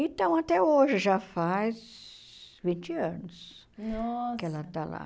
Então, até hoje, já faz vinte anos, nossa, que ela está lá.